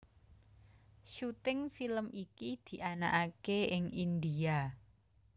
Syuting film iki dianakaké ing India